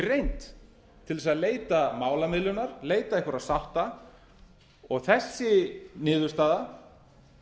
reynd til að leita málamiðlunar leita einhverra sátta og þessi niðurstaða